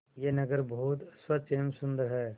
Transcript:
यह नगर बहुत स्वच्छ एवं सुंदर है